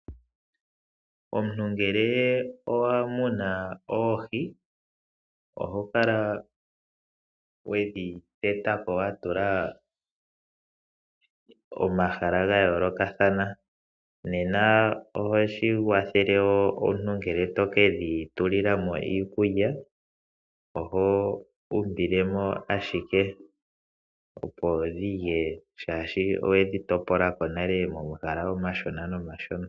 Omuntu ngele owa muna oohi oho kala we dhi gumbila wa tula momahala ga yoolokathana. Ohashi kwathele ngele omuntu to ke dhi pela mo iikulya, oho umbile mo ashike opo dhi lye, oshoka owe dhi topolela nale momahala omashona.